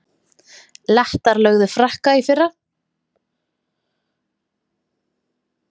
Lettar lögðu Frakka í fyrra